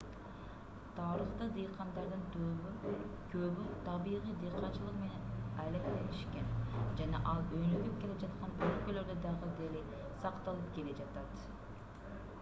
тарыхта дыйкандардын көбү табигый дыйканчылык менен алектенишкен жана ал өнүгүп келе жаткан өлкөлөрдө дагы деле сакталып келе жатат